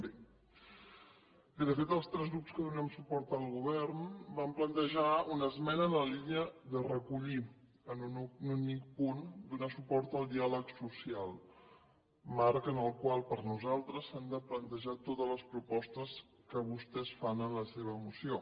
bé de fet els tres grups que donem suport al govern vam plantejar una esmena en la línia de recollir en un únic punt donar suport al diàleg social marc en el qual per nosaltres s’han de plantejar totes les propostes que vostès fan en la seva moció